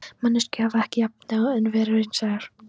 Manneskjur hafa ekki efni á öðru en vera raunsæjar.